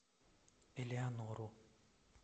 элеонору